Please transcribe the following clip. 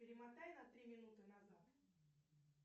перемотай на три минуты назад